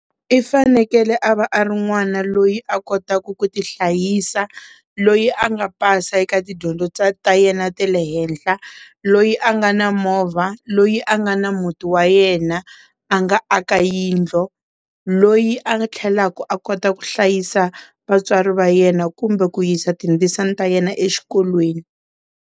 I fanekele a va a ri n'wana loyi a kotaka ku ti hlayisa loyi a nga pasa eka tidyondzo ta yena ta le henhla loyi a nga na movha loyi a nga na muti wa yena a nga aka yindlu loyi a nga tlhelaku a kota ku hlayisa vatswari va yena kumbe ku yisa tindzisana ta yena exikolweni.